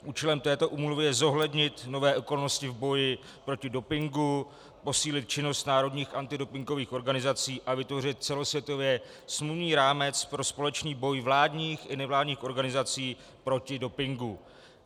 Účelem této úmluvy je zohlednit nové okolnosti v boji proti dopingu, posílit činnost národních antidopingových organizací a vytvořit celosvětově smluvní rámec pro společný boj vládních i nevládních organizací proti dopingu.